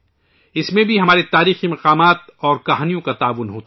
اس میں بھی ہمارے تاریخی مقامات اور اساطیر دونوں کا بہت بڑا حصہ ہے